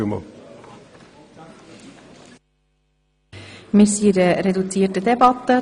Wir führen eine reduzierte Debatte.